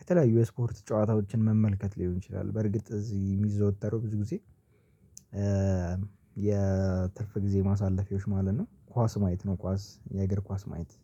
የተለያዩ የስፖርት ጨዋታዎችን መመልከት ሊሆን ይችላል፤ በርግጥ እዚህ የሚዘወተረው ብዙ ጊዜ የትርፍ ጊዜ ማሳለፊያዎች ማለት ነው ኳስ ማየት ነው ኳስ የእግር ኳስ ማየት።